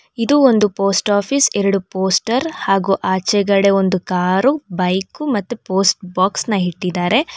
ಇದು ಒಂದು post office ಎರಡು ಪೋಸ್ಟರ್ ಹಾಗು ಆಚೆಗಡೆ ಒಂದು ಕಾರು ಬೈಕು ಮತ್ತು ಪೋಸ್ಟ್ ಬಾಕ್ಸ್ ನ ಇಟ್ಟಿದ್ದಾರೆ.